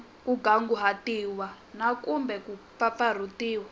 kunguhatiwile na kumbe ku mpfampfarhutiwa